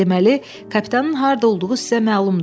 Deməli, kapitanın harda olduğu sizə məlumdur.